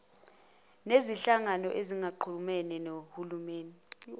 nezinhlangano ezingaxhumene nohulumeni